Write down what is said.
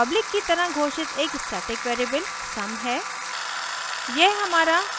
फिर हमारे पास public की तरह घोषित एक static variable sum है